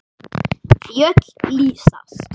Fjöll lýsast.